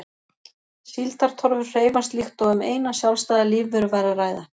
Síldartorfur hreyfast líkt og um eina sjálfstæða lífveru væri að ræða.